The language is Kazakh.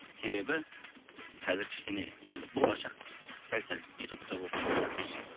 себебі қазір кішкене енді болашақ сәл сәл ютубта болып тұр ғой мхм